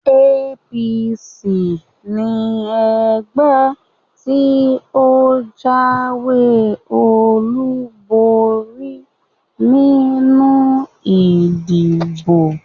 APC ni ẹgbẹ́ tí ó jáwé olúborí nínú ìdìbò